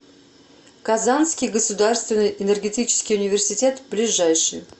казанский государственный энергетический университет ближайший